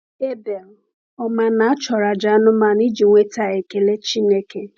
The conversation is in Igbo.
Abel, ọ̀ ma na a chọrọ àjà anụmanụ iji nweta ekele Chineke?